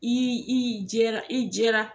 I i jɛra i jɛra